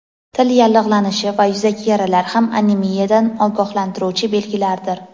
til yallig‘lanishi va yuzaki yaralar ham anemiyadan ogohlantiruvchi begilardir.